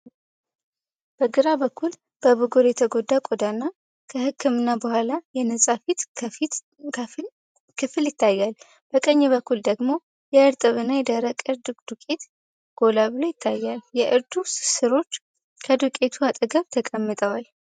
በግራ በኩል በብጉር የተጎዳ ቆዳና ከህክምና በኋላ የነጻ ፊት ክፍል ይታያል። በቀኝ በኩል ደግሞ የእርጥብና የደረቅ እርድ ዱቄት ጎላ ብሎ ይታያል። የእርዱ ሥሮች ከዱቄቱ አጠገብ ተቀምጠዋል።